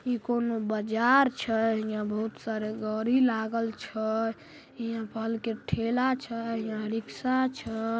ई कोनो बाजार छै। हीया बहुत सारा गाड़ी लागल छै। हीया फल के ठेला छै रिक्शा छै ।